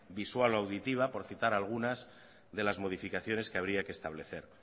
visual o auditiva por citar algunas de las modificaciones que habría que establecer